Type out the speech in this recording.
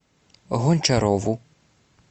гончарову